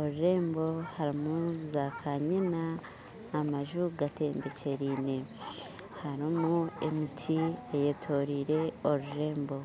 orurembo harimu za kanyina amaju gatembekyereine harimu emiti eyetoreire orurembo